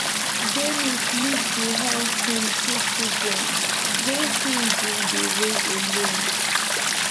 denis leave behind im two children wey im bin dey raise alone